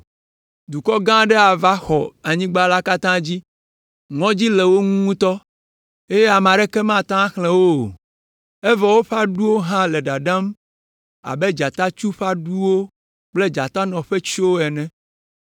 Dukɔ gã aɖe va xɔ anyigba la katã dzi. Ŋɔdzi le wo ŋu ŋutɔ eye ame aɖeke mate ŋu axlẽ wo o, evɔ woƒe aɖuwo hã le ɖaɖam abe dzatatsu ƒe aɖuwo kple dzatanɔ ƒe tsyowo ene!